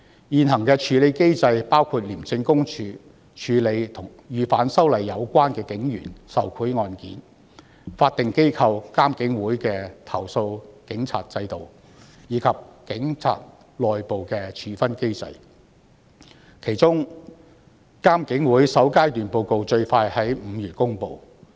現行處理機制包括香港廉政公署處理與反修例有關的警員受賄案件、法定機構獨立監察警方處理投訴委員會處理警察的投訴，以及警察內部的處分機制，其中監警會的首階段報告最快於5月公布。